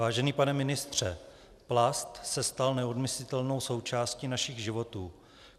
Vážený pane ministře, plast se stal neodmyslitelnou součástí našich životů.